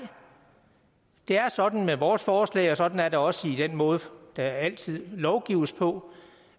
det er sådan med vores forslag og sådan er det også i den måde der altid lovgives på